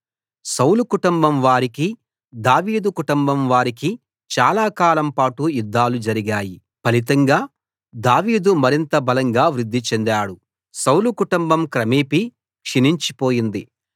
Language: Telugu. సౌలు కుటుంబం వారికీ దావీదు కుటుంబం వారికీ చాలాకాలం పాటు యుద్ధాలు జరిగాయి ఫలితంగా దావీదు మరింత బలంగా వృద్ధి చెందాడు సౌలు కుటుంబం క్రమేపీ క్షీణించిపోయింది